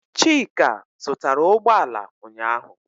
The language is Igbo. Chika zụtara ụgbọala ụnyaahụ.